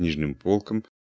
нижним полкам